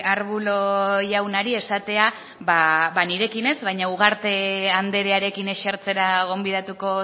arbulo jaunari esatea ba nirekin ez baina ugarte andrearekin esertzera gonbidatuko